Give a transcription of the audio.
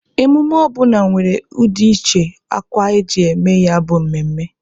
Emume ọbụna nwere ụdị uche akwa e ji eme ya bụ mmemme.